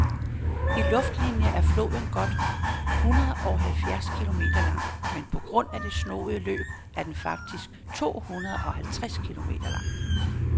I luftlinie er floden godt hundredeoghalvfjerds kilometer lang, men på grund af det snoede løb er den faktisk tohundredeoghalvtreds kilometer lang.